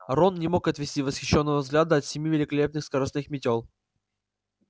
рон не мог отвести восхищённого взгляда от семи великолепных скоростных мётел